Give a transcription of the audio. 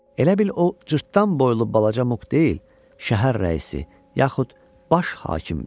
Elə bil o cırtdan boylu balaca Muk deyil, şəhər rəisi, yaxud baş hakimdir.